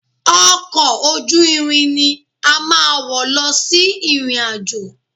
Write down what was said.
Ọkọ̀ ojú irin ni a máa wọ̀ lọ sí ìrìn-àjò